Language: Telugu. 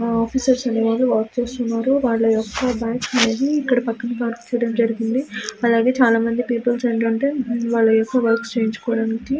ఇక్కడ చూసినట్టు అయితే చాలా మంది ఉన్నారు ఇక్కడ చాలా జెనాలు కనిపిస్తున్నారు చుడానికి మనకిక హల అందంగా కనిపిస్తుంది.